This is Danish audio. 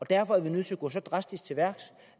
derfor er nødt til at gå så drastisk til værks